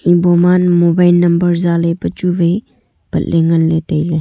boma mobile number zale pe chu wai patle ngan le taile.